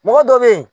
Mɔgɔ dɔ bɛ ye